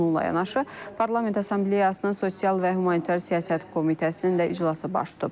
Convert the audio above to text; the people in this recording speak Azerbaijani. Bununla yanaşı Parlament Assambleyasının sosial və humanitar siyasət komitəsinin də iclası baş tutub.